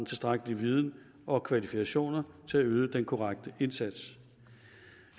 tilstrækkelig viden og kvalifikationer til at yde den korrekte indsats